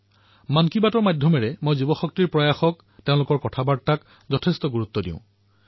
মন কী বাতৰ জৰিয়তে মই যুৱসমাজৰ প্ৰয়াসক তেওঁলোকৰ কথাক অধিকতম ৰূপত পালন কৰাৰ প্ৰয়াস কৰোঁ